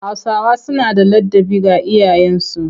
Hausawa suna da ladabi ga iyayensu